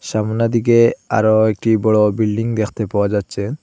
সামনে দিকে আরও একটি বড় বিল্ডিং দেখতে পাওয়া যাচ্ছে।